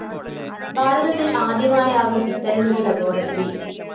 ഭാരതത്തില്‍ ആദ്യമായാകും ഇത്തരമൊരു ലബോറട്ടറി